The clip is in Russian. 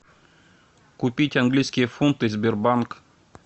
купить английские фунты сбербанк